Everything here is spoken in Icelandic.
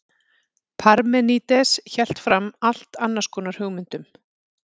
parmenídes hélt fram allt annars konar hugmyndum